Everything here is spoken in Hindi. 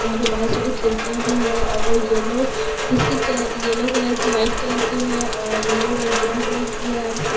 यहाँ पे बहुत सारी खिड़कियाँ भी हैं और वो yellow biscuit colour yellow colour की वाइट कलर की है और रेड और ग्रीन कलर की है और इसमें --